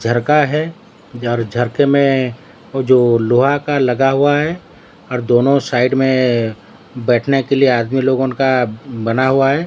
झरका है और झरखे में वो जो लोहा का लगा हुआ है और दोनों साइड में बैठने के लिए आदमी लोगन का बना हुआ है।